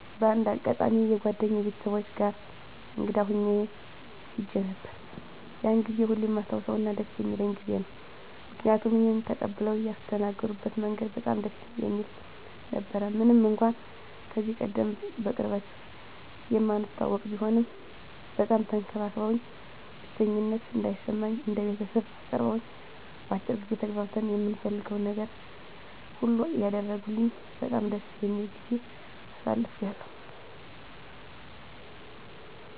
በአንድ አጋጣሚ የጓደኛየ ቤተሰቦች ጋር እንግዳ ሁኜ ሄጄ ነበር። ያንን ጊዜ ሁሌም የማስታውሰውና ደስ የሚለኝ ጊዜ ነው። ምክንያቱም እኔን ተቀብለው ያስተናገድበት መንገድ በጣም ደስ የሚል ነበረ። ምንም እንኳን ከዚህቀደም በቅርበት የማንተዋወቅ ቢሆንም በጣም ተንከባክበውኝ፣ ብቸኝነት እንዳይሰማኝ እንደ ቤተሰብ አቅርበውኝ፣ በአጭር ጊዜ ተግባብተን የምፈልገውን ነገር ሁሉ እያደረጉልኝ በጣም ደስ የሚል ጊዜ አሳልፌያለሁ።